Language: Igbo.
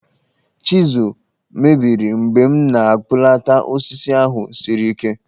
Chizụl mebiri mgbe m na-akpụlata osisi ahụ siri ike